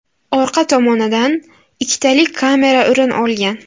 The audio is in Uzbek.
Orqa tomonidan ikkitalik kamera o‘rin olgan.